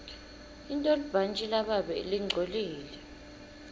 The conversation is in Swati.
intolibhantji lababe lingcolile